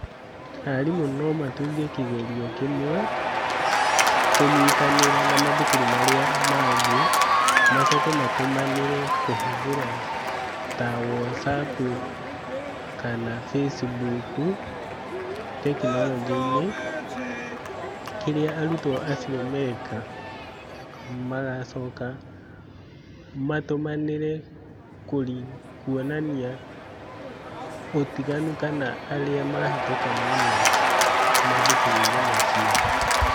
Arimũ no matunge kĩgerio kĩmwe, kũnyitanĩra na mathukuru marĩa mangĩ, macoke matumanĩre kũhũthĩra ta Whatsapp kana Facebook tekinoronjĩ-inĩ, kĩrĩa arutwo acio meka, magacoka, matũmanĩre kuonania ũtiganu kana arĩa mahĩtũka mũno, mathukuru-inĩ macio.